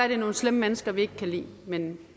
det er nogle slemme mennesker vi ikke kan lide men